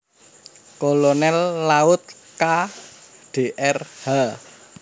Kolonel Laut K dr H